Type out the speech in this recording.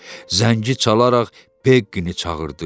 Zəngi çalaraq Beqqini çağırdı.